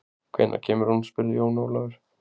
Hvenær kemur hún spurði Jón Ólafur.